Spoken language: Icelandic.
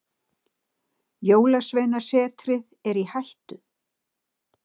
Jólasveinasetrið er í hættu.